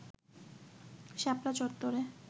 শাপলা চত্বরে